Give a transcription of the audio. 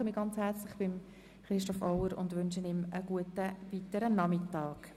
Ich bedanke mich ganz herzlich bei Christoph Auer und wünsche ihm weiterhin einen guten Nachmittag.